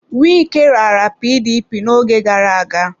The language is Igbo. Wike raara PDP n'oge gara aga.